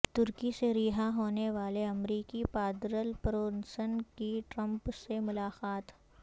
ترکی سے رہا ہونے والے امریکی پادری برونسن کی ٹرمپ سے ملاقات